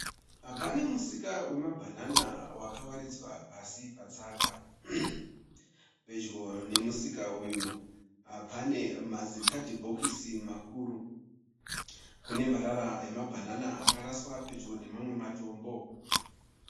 Pane musika wemabhanana wakawaridzwa pasi patsaga. Pedyo nemusika uyu pane mazikatibhokisi makuru. Kune marara emabhanana akaraswa pedyo nemamwe matombo.